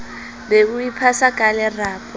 be o iphasa ka lerapo